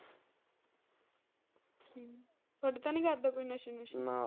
ਥੋਡੇ ਤਾਂ ਨਹੀਂ ਕਰਦਾ ਕੋਈ ਨਸ਼ੇ ਨੂਸ਼ੇ ਨਾ।